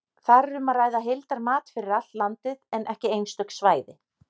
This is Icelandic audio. Þar er um að ræða heildarmat fyrir allt landið, en ekki einstök svæði.